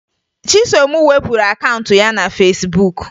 Chisom wepụrụ akaụntụ ya na Fesbuk